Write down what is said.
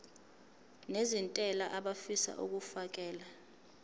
nezentela abafisa uukfakela